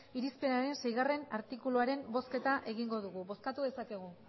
irizpenaren seigarrena artikuluaren bozketa egingo dugu bozkatu dezakegu